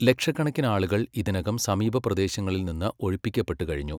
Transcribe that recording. ലക്ഷക്കണക്കിന് ആളുകൾ ഇതിനകം സമീപപ്രദേശങ്ങളിൽ നിന്ന് ഒഴിപ്പിക്കപ്പെട്ടുകഴിഞ്ഞു.